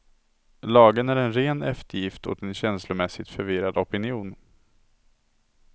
Lagen är en ren eftergift åt en känslomässigt förvirrad opinion.